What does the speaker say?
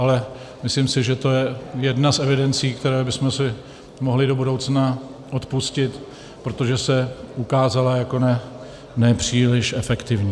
Ale myslím si, že to je jedna z evidencí, kterou bychom si mohli do budoucna odpustit, protože se ukázala jako nepříliš efektivní.